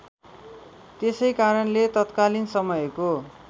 त्यसैकारणले तात्कालीन समयको